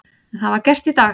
En það var gert í dag.